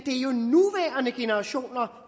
det generationer